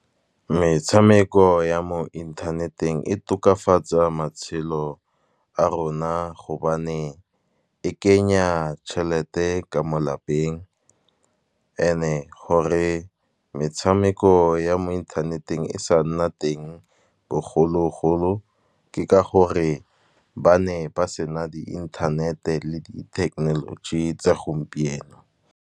Metshameko ya mo inthaneteng e tokafatsa matshelo a rona, gobane e kenya tšhelete ka mo lapeng, and e gore e metshameko ya mo inthaneteng, e sa nna teng bogologolo ke ka gore, ba ne ba sena di inthanete le di technology tsa gompieno.